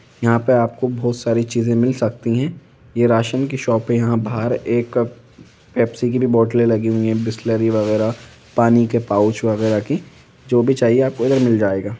यहाँ पर आपको बहुत सारी चीजें मिल सकती हैं ये राशन की शॉप हैं यहाँ बहार एक ए-पेप्सी की भी बोतल लगी हुई है बिसलेरी वगेरा पानी के पाउच वगेरा की जो भी चाहिए आपको यहाँ मिल जाएगा।